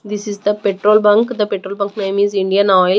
This is the petrol bunk and the petrol bunk name is Indian oil.